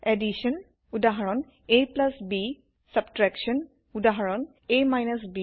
Addition যোগউদাহৰন ab Subtraction বিয়োগউদাহৰন a ব